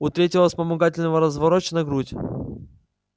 у третьего вспомогательного разворочена грудь